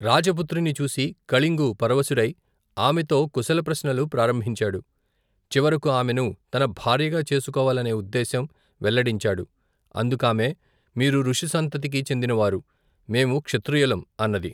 రాజపుత్రిని చూసి, కళింగు పరవశుడై, ఆమెతో కుశలప్రశ్నలు ప్రారంభించాడు, చివరకు, ఆమెను తన భార్యగా చేసుకోవాలనే ఉద్దేశం, వెల్లడించాడు, అందుకామె, మీరు ఋషిసంతతికి చెందినవారు, మేము క్షత్రియులం అన్నది.